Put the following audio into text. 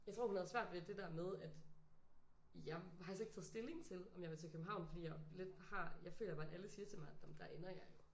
Jeg tror hun havde svært ved det der med at jeg har faktisk ikke taget stilling til om jeg vil til København fordi jeg lidt har jeg føler bare alle siger til mig at der ender jeg jo